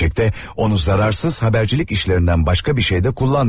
Gerçəkdə onu zərərsiz habercilik işlərindən başqa bir şey də kullanmıyorduk.